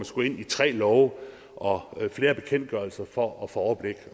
skal ind i tre love og flere bekendtgørelser for at få overblik